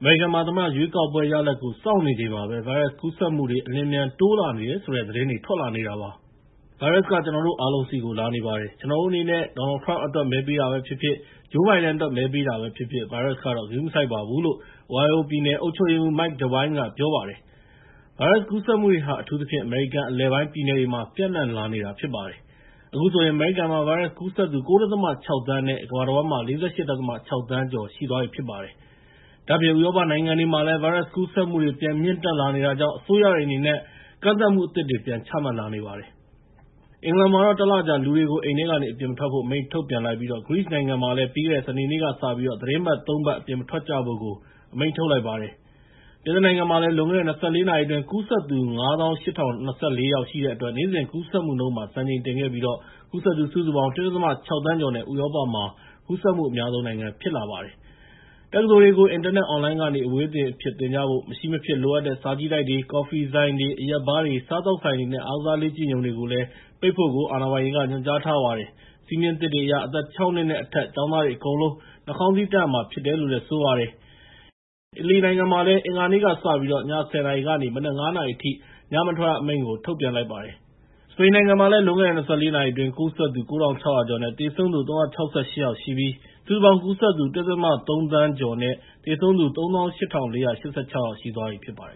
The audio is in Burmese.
အမေရိကန်မှာ သမ္မတရွေးကောက်ပွဲ ရလဒ်ကို စောင့်နေချိန်မှာပဲ ဗိုင်းရပ်စ်ကူးစက်မှုတွေ အလျင်အမြန် တိုးလာနေတယ်ဆိုတဲ့ သတင်းတွေ ထွက်လာနေတာပါ။ "ဗိုင်းရပ်စ်က ကျနော်တို့ အားလုံးဆီကို လာနေပါတယ်။ ကျနော်တို့အနေနဲ့ ဒေါ်နယ်လ်ဒ် ထရမ့်ပ်အတွက် မဲပေးတာပဲဖြစ်ဖြစ်၊ ဂျိုး ဘိုင်ဒန်အတွက် မဲပေးတာပဲဖြစ်ဖြစ် ဗိုင်းရပ်စ်ကတော့ ဂရုမစိုက်ပါဘူး။" လို့ Ohio ပြည်နယ်အုပ်ချုပ်ရေးမှူး Mike DeWine က ပြောပါတယ်။ ဗိုင်းရပ်စ်ကူးစက်မှုတွေဟာ အထူးသဖြင့် အမေရိကန်အလယ်ပိုင်းပြည်နယ်တွေမှာ ပျံ့နှံ့လာနေတာဖြစ်ပါတယ်။ အခုဆိုရင် အမေရိကန်မှာ ဗိုင်းရပ်စ်ကူးစက်သူ ၉.၆ သန်းနဲ့ ကမ္ဘာတဝန်းမှာ ၄၈.၆ သန်း ကျော်ရှိပါတယ်။ ဒါ့အပြင် ဥရောပနိုင်ငံမှာတွေမှာလည်း ဗိုင်းရပ်စ်ကူးစက်မှုတွေ ပြန်မြင့်တက်လာနေတာကြောင့် အစိုးရတွေအနေနဲ့ ကန့်သတ်မှုအသစ်တွေ ပြန်ချမှတ်လာနေပါတယ်။ အင်္ဂလန်မှာတော့ ၁ လကြာ လူတွေကို အိမ်ထဲကနေ အပြင်မထွက်ဖို့ အမိန့်ထုတ်ပြန်လိုက်ပြီး ဂရိနိုင်ငံကလည်း ပြီးခဲ့တဲ့ စနေနေ့ကစပြီး သီတင်းပတ် ၃ ပတ် အပြင်မထွက်ကြဖို့ အမိန့်ထုတ်လိုက်ပါတယ်။ ပြင်သစ်နိုင်ငံမှာ လွန်ခဲ့တဲ့ ၂၄ နာရီအတွင်း ကူးစက်သူ ၅၈,၀၂၄ ယောက်ရှိတဲ့အတွက် နေ့စဉ်ကူးစက်မှုမှာ စံချိန်တင်ခဲ့ပြီး ကူးစက်သူ ၁.၆ သန်း ကျော်နဲ့ ဥရောပမှာ ကူးစက်မှုအများဆုံးနိုင်ငံ ဖြစ်ပါတယ်။ တက္ကသိုလ်တွေကို အင်တာနက်အွန်လိုင်းကနေ အဝေးသင်အဖြစ်သင်ကြဖို့ မရှိမဖြစ်မလိုအပ်တဲ့ စာကြည့်တိုက်တွေ၊ ကော်ဖီဆိုင်တွေ၊ အရက်ဘားတွေ၊ စားသောက်ဆိုင်တွေနဲ့ အားကစားလေ့ကျင့်ရုံတွေကို ပိတ်ဖို့ ညွှန်ကြားထားပါတယ်။ စည်းမျဉ်းသစ်တွေအရ အသက် ၆ နှစ် နဲ့ အထက် ကျောင်းသားတွေအကုန်လုံး နှာခေါင်းစည်းတပ်ရမှာဖြစ်ပါတယ်။ အီတလီမှာလည်း အင်္ဂါနေ့ကစပြီး ည ၁၀ နာရီကနေ မနက် ၅ နာရီအထိ ညမထွက်ရအမိန့် ထုတ်ပြန်လိုက်ပါတယ်။ စပိန်မှာလည်း လွန်ခဲ့တဲ့ ၂၄ နာရီအတွင်း ကူးစက်သူ ၉,၆၀၀ ကျော်နဲ့ သေဆုံးသူ ၃၆၈ ယောက်ရှိပြီး စုစုပေါင်း ကူးစက်သူ ၁.၃ သန်း ကျော်နဲ့ သေဆုံးသူ ၃၈,၄၈၆ ယောက်ရှိသွားပြီဖြစ်ပါတယ်